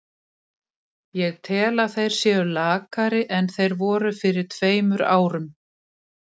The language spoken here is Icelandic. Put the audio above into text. Ég tel að þeir séu lakari en þeir voru fyrir tveimur árum.